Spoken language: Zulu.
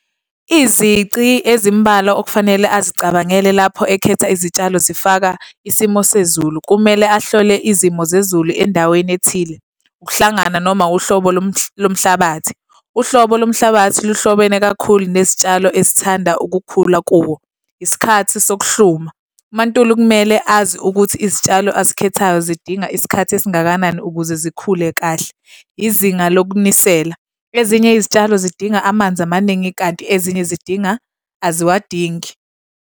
Izici ezimbalwa okufanele azicabangele lapho ekhetha izitshalo zifaka isimo sezulu, kumele ahlole izimo zezulu endaweni ethile. Ukuhlangana noma uhlobo lomhlabathi. Uhlobo lomhlabathi luhlobene kakhulu nezitshalo ezithanda ukukhula kuwo. Isikhathi sokuhluma. UMaNtuli kumele azi ukuthi izitshalo azikhethayo zidinga isikhathi esingakanani ukuze zikhule kahle. Izinga lokunisela. Ezinye izitshalo zidinga amanzi amaningi kanti ezinye zidinga, aziwadingi.